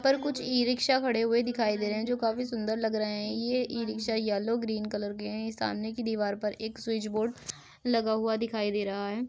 पर कुछ e rickshaw खड़े हुए दिखाई दे रहे हैं जो काफी सुन्दर लग रहे है | ये e rickshaw yellow green colour के हैं सामने की दीवार पर एक स्विच बोर्ड लगा हुआ दिखाई दे रहा है।